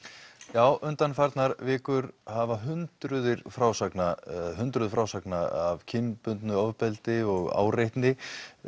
já undanfarnar vikur hafa hundruð frásagna hundruð frásagna af kynbundnu ofbeldi og áreitni